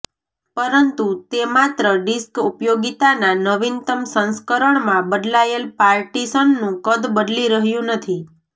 પરંતુ તે માત્ર ડિસ્ક ઉપયોગીતાના નવીનતમ સંસ્કરણમાં બદલાયેલ પાર્ટીશનનું કદ બદલી રહ્યું નથી